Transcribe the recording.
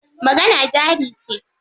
Magana jari ce.